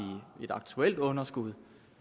et aktuelt underskud